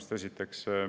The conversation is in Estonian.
Seda esiteks.